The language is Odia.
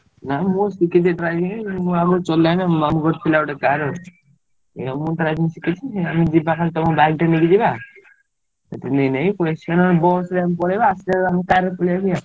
ନାଇଁ ମୁଁ ଶିଖିଛି driving ମୁଁ ଆଗରୁ ଚଲାଏନା ମାମୁଁଘରେ ଥିଲାବେଳେ car ଅଛି ଆଉ ମୁଁ driving ଶିଖିଛି ଏଇଆ ଯିବା ତମ ଗାଡି ଟିକେ ନେଇକି ଯିବା ବସ ରେ ପଳେଇବା ଆସିଲା ବେଲେ ଆମେ car ରେ ପାଳାଇମି ଆଉ।